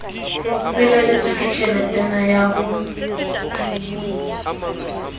felehetswe ke tjheletana ya ho